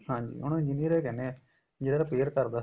ਹਾਂਜੀ ਉਹਨੂੰ engineer ਹੀ ਕਹਿਨੇ ਏ ਜਿਹੜਾ repair ਕਰਦਾ